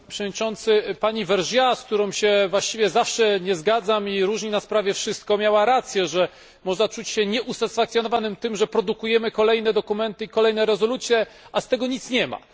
Panie Przewodniczący! Pani Vergiat, z którą się właściwie nigdy nie zgadzam i różni nas prawie wszystko, miała rację, że można czuć się nieusatysfakcjonowanym tym, że produkujemy kolejne dokumenty i kolejne rezolucje, a z tego nic nie ma.